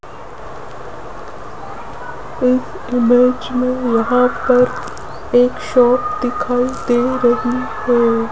इस इमेज मे यहां पर एक शॉप दिखाई दे रही है।